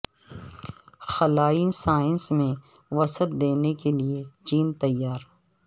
خلائی سائنس میں وسعت دینے کے لیے چین تیار